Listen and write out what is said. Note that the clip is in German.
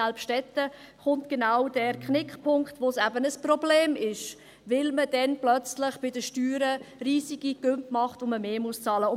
Selbst dort kommt es genau zu diesem Knickpunkt, wo es eben ein Problem wird, weil man dann plötzlich bei den Steuern riesige Sprünge macht und man mehr bezahlen muss.